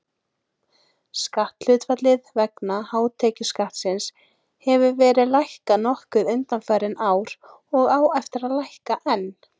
Skatthlutfallið vegna hátekjuskattsins hefur verið lækkað nokkuð undanfarin ár og á að lækka enn.